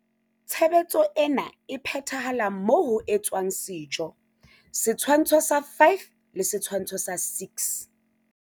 Tshebetso ena e phethahala moo ho etswang sejo. Setshwantsho sa 5 le Setshwantsho sa 6.